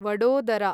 Vadodara